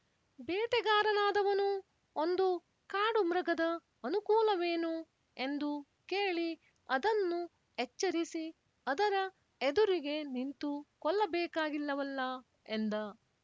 ಬೇಟೆಗಾರನಾದವನು ಒಂದು ಕಾಡು ಮೃಗದ ಅನುಕೂಲವೇನು ಎಂದು ಕೇಳಿ ಅದನ್ನು ಎಚ್ಚರಿಸಿ ಅದರ ಎದುರಿಗೆ ನಿಂತು ಕೊಲ್ಲಬೇಕಾಗಿಲ್ಲವಲ್ಲ ಎಂದ